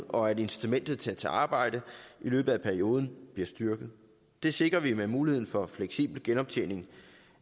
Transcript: og at incitamentet til at tage arbejde i løbet af perioden bliver styrket det sikrer vi med muligheden for fleksibel genoptjening